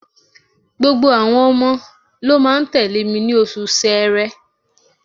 Gbogbo àwọn ọmọ ló máa tẹ̀lé mi ní oṣù Ṣẹẹrẹ.